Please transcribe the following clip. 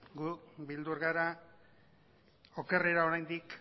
gu beldur gara okerrera oraindik